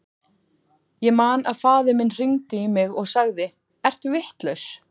Ég man að faðir minn hringdi í mig og sagði, ertu vitlaus?